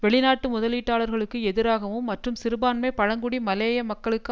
வெளிநாட்டு முதலீட்டாளர்களுக்கு எதிராகவும் மற்றும் சிறுபான்மை பழங்குடி மலேய மக்களுக்கு